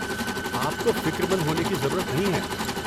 آپ کو فکر مند ہونے کی ضرورت نہیں ہے۔